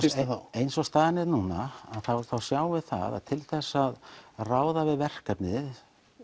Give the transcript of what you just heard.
eins og staðan er núna sjáum við það að til þess að ráða við verkefnið